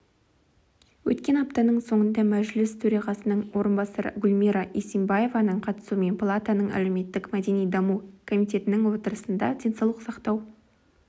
өткен аптаның соңында мәжіліс төрағасының орынбасары гүлмира исимбаеваның қатысуымен палатаның әлеуметтік-мәдени даму комитетінің отырысында денсаулық сақтау